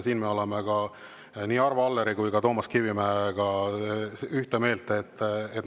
Siin me oleme Arvo Alleri ja Toomas Kivimäega ühel meelel.